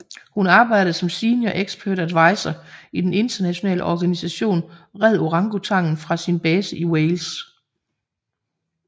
Hun arbejdede som Senior Expert Advisor i den internationale organisation Red Orangutangen fra sin base i Wales